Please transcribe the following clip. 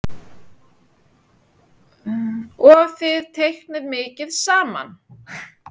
Og þið teiknið mikið saman?